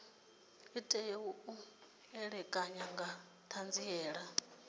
tea u ṋekana nga ṱhanziela